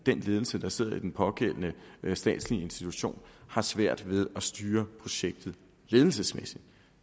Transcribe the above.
ledelse der sidder i den pågældende statslige institution har svært ved at styre projektet ledelsesmæssigt